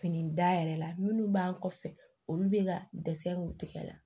Fini da yɛrɛ la minnu b'an kɔfɛ olu bɛ ka dɛsɛ k'u tigɛ la